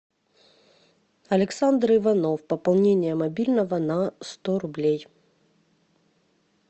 александр иванов пополнение мобильного на сто рублей